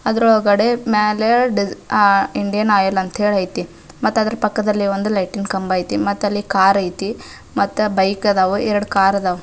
ಅದ್ರ ಒಳಗಡೆ ಮ್ಯಾಲೆ ಇಂಡಿಯನ್ ಆಯಿಲ್ ಅಂತ ಐತಿ ಅದರ ಪಕ್ಕದಲ್ಲಿ ಲೈಟಿಂಗ್ ಕಂಬ ಐತಿ ಮತ್ತೆ ಅಲ್ಲಿ ಕಾರ್ ಐತಿ ಮತ್ತ ಬೈಕ್ ಅದಾವ ಎರಡು ಕಾರ್ ಅದಾವ.